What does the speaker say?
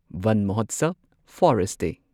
Van Mahotsav forest ꯗꯦ